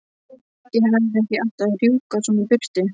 Ég hefði ekki átt að rjúka svona í burtu.